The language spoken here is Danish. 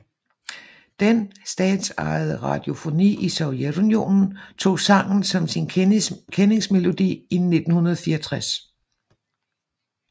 Den statsejede radiofoni i Sovjetunionen tog sangen som sin kendingsmelodi i 1964